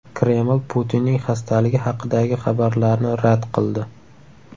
Kreml Putinning xastaligi haqidagi xabarlarni rad qildi.